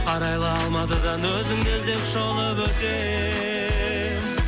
арайлы алматыдан өзіңді іздеп шолып өтем